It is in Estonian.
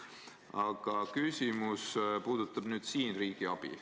Aga minu küsimus puudutab riigiabi.